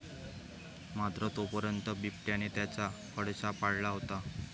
मात्र तोपर्यंत बिबट्याने त्याचा फडशा पाडला होता.